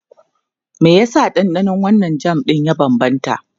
Me yasa ɗanɗanon wannan jam ɗin ya bambanta?